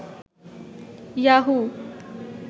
Yahoo